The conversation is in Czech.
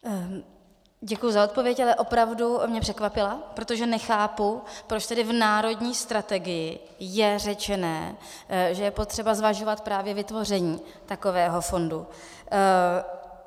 Děkuji za odpověď, ale opravdu mě překvapila, protože nechápu, proč tedy v národní strategii je řečeno, že je potřeba zvažovat právě vytvoření takového fondu.